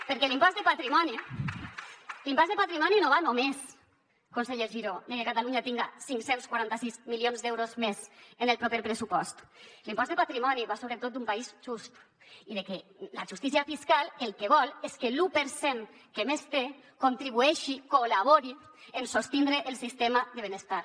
perquè l’impost de patrimoni no va només conseller giró de que catalunya tinga cinc cents i quaranta sis milions d’euros més en el proper pressupost l’impost de patrimoni va sobretot d’un país just i de que la justícia fiscal el que vol és que l’u per cent que més té contribueixi col·labori en sostindre el sistema de benestar